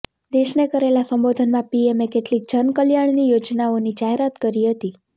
દેશને કરેલા સંબોધનમાં પીએમએ કેટલીક જનકલ્યાણની યોજનાઓની જાહેરાત કરી હતી